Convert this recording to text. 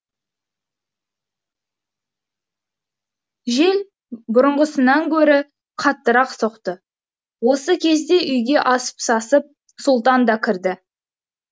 жел бұрынғысынан гөрі қаттырақ соқты осы кезде үйге асыл сасып сұлтан да кірді